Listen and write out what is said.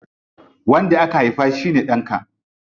Wanda ka haifa shine ɗanka.